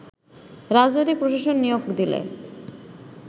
রাজনৈতিক প্রশাসক নিয়োগ দিলে